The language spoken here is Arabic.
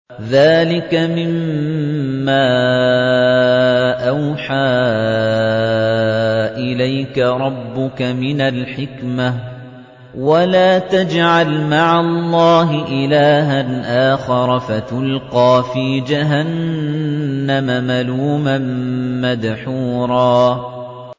ذَٰلِكَ مِمَّا أَوْحَىٰ إِلَيْكَ رَبُّكَ مِنَ الْحِكْمَةِ ۗ وَلَا تَجْعَلْ مَعَ اللَّهِ إِلَٰهًا آخَرَ فَتُلْقَىٰ فِي جَهَنَّمَ مَلُومًا مَّدْحُورًا